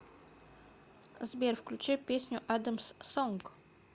сбер включи песню адамс сонг